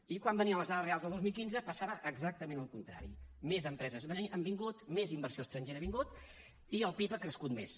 i quan venien les dades reals del dos mil quinze passava exactament el contrari més empreses han vingut més inversió estrangera ha vingut i el pib ha crescut més